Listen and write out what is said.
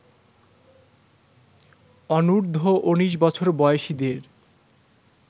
অনূর্ধ্ব ১৯ বছর বয়সীদের